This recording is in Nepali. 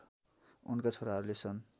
उनका छोराहरूले सन्